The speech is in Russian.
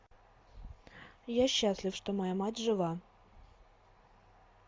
я счастлив что моя мать жива